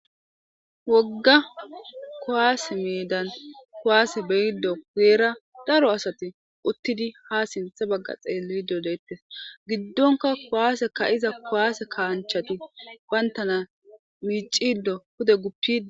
Wogga kuwasse medan kuwasse be'di guyera daro assathi uttidi ha sintha bagga xelidi dethess. Gidonkka kuwasse ka'zza kuwasse kassanchathi bantana miccidi pudde guppidi